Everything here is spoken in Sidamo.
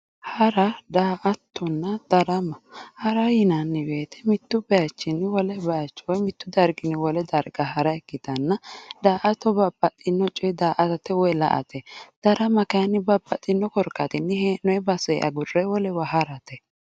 Hara daa"attonna darama hara yinanni woyte mittu baychinni woyi mittu darginni wole darga hara ikkitanna daa"atto babbaxxino coye daa"atate woyi la"ate darama kayinni babbaxxino korkaatinni hee'noyi basee agurre wolewa harate